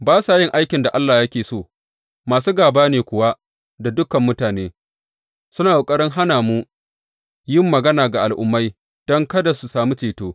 Ba sa yin aikin da Allah yake so, masu gāba ne kuwa da dukan mutane suna ƙoƙarin hana mu yin magana ga Al’ummai don kada su sami ceto.